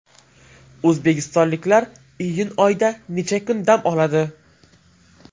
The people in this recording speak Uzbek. O‘zbekistonliklar iyun oyida necha kun dam oladi?.